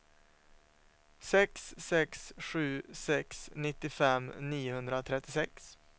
sex sex sju sex nittiofem niohundratrettiosex